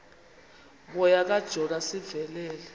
moya kajona sivelele